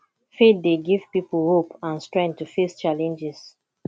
faith dey give people hope and strength to face challenges